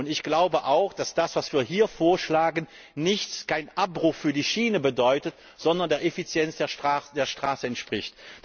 Ich glaube auch, dass das, was wir hier vorschlagen, keinen Abbruch für die Schiene bedeutet, sondern der Effizienz der Straße entspricht.